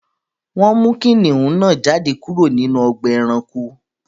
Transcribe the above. Wọn mú kìnnìún náà jádẹ̀ kúrò nínú ọ̀gbà ẹ̀ránkò